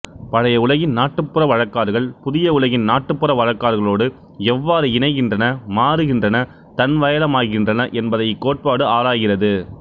பழைய உலகின் நாட்டுப்புற வழக்காறுகள் புதிய உலகின் நாட்டுப்புற வழக்காறுகளோடு எவ்வாறு இணைகின்றன மாறுகின்றனதன்வயளமாகின்றன என்பதை இக்கோட்பாடு ஆராய்கிறது